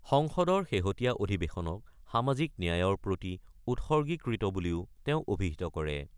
সংসদৰ শেহতীয়া অধিৱেশনক সামাজিক ন্যায়ৰ প্ৰতি উৎসৰ্গীকৃত বুলিও তেওঁ অভিহিত কৰে।